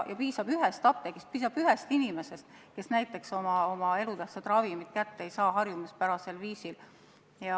Ja piisab ühest apteegist, piisab ühest inimesest, kes oma elutähtsat ravimit harjumuspärasel viisil kätte ei saa.